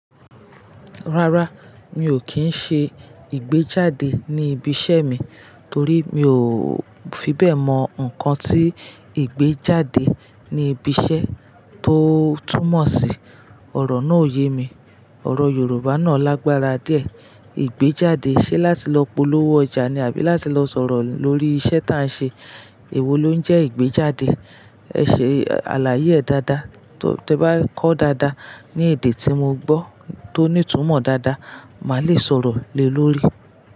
Rárá, mi ò kí ń ṣe ìgbéjáde ní ibi iṣẹ́ mi torí mi ò fi bẹ́ẹ̀ mọ nǹkan tí ìgbéjáde ní ibi iṣẹ́ tó túmọ̀ sí. Òrò náà ò ye mi. Òrò Yorùbá náà lágbára díẹ̀. Ìgbéjáde ṣe láti lọ polówó ọjà ni àbí láti lọ sọ̀rọ̀ lórí iṣẹ́ tá a n ṣe? Èwo ló ń jẹ́ ìgbéjáde? Ẹ ṣe àlàyé ẹ̀ dáadáa, tó bá kọ́ dáadáa ní èdè tí mo gbọ́ tó ní ìtumọ̀ dáadáa, màá le sọ̀rọ̀ lé lórí i.